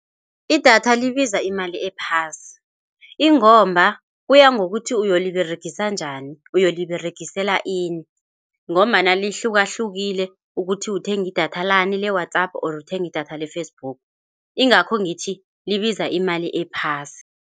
Idatha libiza imali ephasi ingomba kuya ngokuthi uyoliberegisa njani, uyoliberegisela ini ngombana lihlukahlukile, ukuthi uthenga idatha lani le-WhatsApp or uthenga idatha le-Facebook, ingakho ngithi libiza imali ephasi.